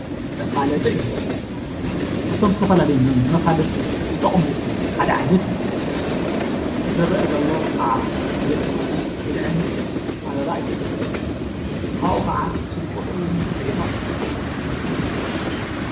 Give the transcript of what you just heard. መፋለጢ እዩ፡፡ ካፍቶም ዝተፈላለዩ ንመፋለጢ ዝጠቕሙ ሓደ ዓይነት እዩ፡፡ እቲ ዝርአ ዘሎ ኸዓ ቤት ቁርስን ብልዕን ኣበባ እዩ፡፡ ኻብኡ ኸዓ ስልኪ ቁፅሩ እውን ተፅሒፉ ኣሎ፡፡